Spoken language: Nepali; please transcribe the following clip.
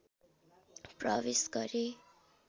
प्रवेश गरे